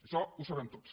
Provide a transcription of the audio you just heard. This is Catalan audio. això ho sabem tots